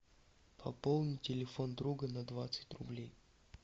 пополни телефон друга на двадцать рублей